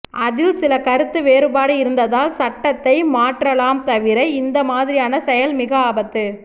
அதில் சில கருத்து வேறுபாடு இருந்தால் சட்டதை மாற்றலாம் தவிர இந்த மாதிரியான செயல் மிக ஆபத்து